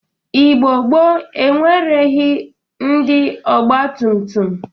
Igbo gboo enwereghi ndị ọgbatụmtụm.